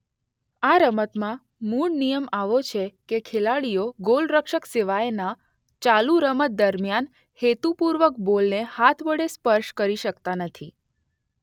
આ રમતમાં મૂળ નિયમ એવો છે કે ખેલાડીઓ ગોલરક્ષક સિવાયના ચાલુ રમત દરમિયાન હેતુપુર્વક બોલને હાથ વડે સ્પર્શ કરી શકતા નથી.